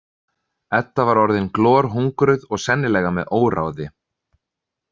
Edda var orðin glorhungruð og sennilega með óráði.